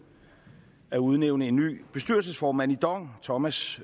at udnævne en ny bestyrelsesformand i dong thomas